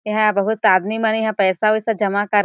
एहा बहुत आदमी मन यहाँ पैसा वैसा जमा कर--